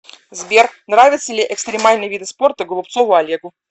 сбер нравятся ли экстримальные виды спорта голубцову олегу